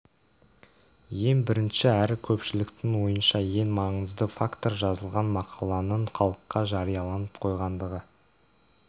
ең бірінші әрі көпшіліктің ойынша ең маңызды фактор жазылған мақаланың халыққа жарияланып қойғандығы